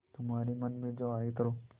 तुम्हारे मन में जो आये करो